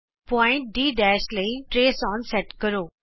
ਬਿੰਦੂ D ਲਈ trace on set ਕਰੋ